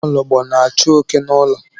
Nwaologbo na-achụ oké n'ụlọ.